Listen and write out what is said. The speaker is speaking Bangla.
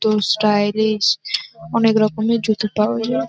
তো স্টাইলিশ অনেক রকমের জুতো টাও-